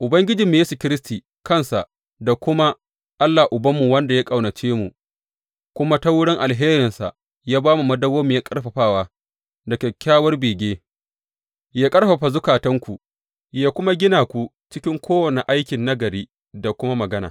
Ubangijinmu Yesu Kiristi kansa da kuma Allah Ubanmu, wanda ya ƙaunace mu kuma ta wurin alherinsa yă ba mu madawwamiyar ƙarfafawa da kyakkyawar bege, yă ƙarfafa zukatanku yă kuma gina ku cikin kowane aikin nagari da kuma magana.